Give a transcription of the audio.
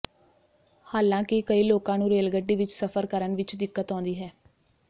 ਹਾਲਾਂਕਿ ਕਈ ਲੋਕਾਂ ਨੂੰ ਰੇਲਗੱਡੀ ਵਿਚ ਸਫ਼ਰ ਕਰਨ ਵਿਚ ਦਿੱਕਤ ਆਉਂਦੀ ਹੈ